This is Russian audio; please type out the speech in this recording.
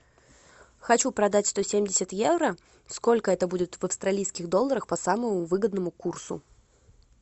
хочу продать сто семьдесят евро сколько это будет в австралийских долларах по самому выгодному курсу